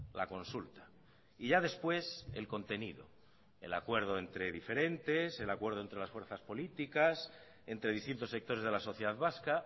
la consulta y ya después el contenido el acuerdo entre diferentes el acuerdo entre las fuerzas políticas entre distintos sectores de la sociedad vasca